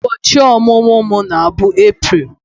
Ubochi omumu m na-bụ April